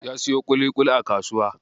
Ya siyo ƙuliƙuli a kasuwa.